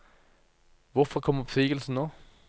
Hvorfor kom oppsigelsen nå?